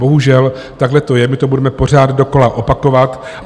Bohužel takhle to je, my to budeme pořád dokola opakovat.